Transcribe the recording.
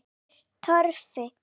Finnur Torfi.